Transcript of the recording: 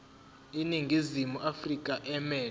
iningizimu afrika emelwe